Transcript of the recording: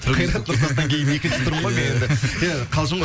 қайрат нұртастан кейін екінші тұрмын ғой мен енді і қалжың ғой